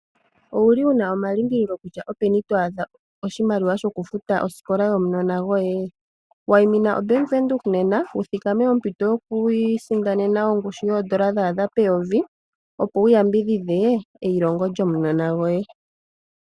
Owuli wuna omalimbililo kutya openi to adha oshimaliwa shoku futa osikola yomunona goye? Waimina Bank Windhoek nena wu thikame ompito yoku isindanena ongushu yoondola dha adha peyovi opo wu yambidhidhe eyilongo lyomunona goye.